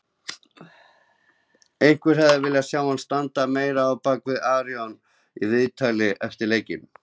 Einhverjir hefðu viljað sjá hann standa meira á bakvið Aron í viðtali eftir leikinn.